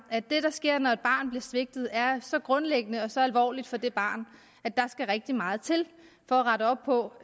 at det der sker når et barn bliver svigtet er så grundlæggende og så alvorligt for det barn at der skal rigtig meget til for at rette op på